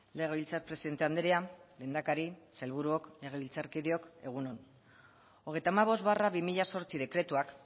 legebiltzar presidente andrea lehendakari sailburuok legebiltzarkideok egun on hogeita hamabost barra bi mila zortzi dekretuak